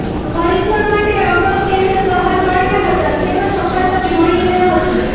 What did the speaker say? ખરીદવા માટે અગાઉ ટેન્ડર બહાર પાડયા હતા તેમાં સફળતા મળી ન હતી